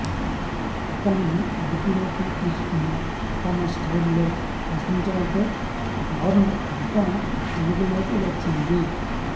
అతనిని అదుపులోకి తీసుకుని తమ స్టైల్లో ప్రశ్నించడంతో దారుణ ఘటన వెలుగులోకి వచ్చింది